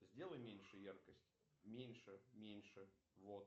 сделай меньше яркость меньше меньше вот